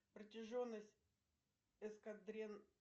протяженность